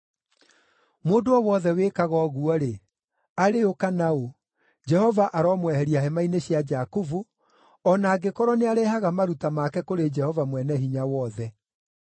Mũndũ o wothe wĩkaga ũguo-rĩ, arĩ ũ kana ũ, Jehova aromweheria hema-inĩ cia Jakubu, o na angĩkorwo nĩarehage maruta make kũrĩ Jehova Mwene-Hinya-Wothe.